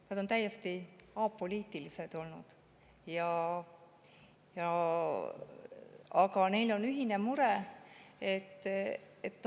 Nad on olnud täiesti apoliitilised, aga neil on ühine mure.